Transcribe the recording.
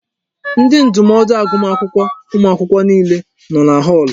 Ndi ndụmọdụ agụmakwụkwọ ụmụ akwụkwọ niile nọ na họọlụ.